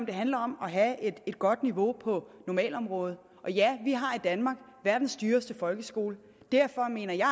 det handler om at have et godt niveau på normalområdet og ja vi har i danmark verdens dyreste folkeskole og derfor mener jeg